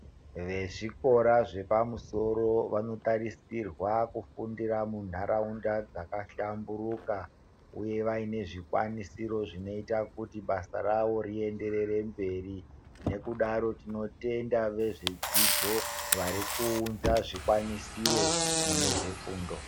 Vezvikora zvepamusoro vanotarisirwa kufundira mundaraunda dzakahlamburuka uye vaine zvikwanisiro zvinoite kuti basa rawo rienderere mberi. Nekudaro tinotenda vezvedzidzo varikuunza zvikwanisiro munezvedzidzo.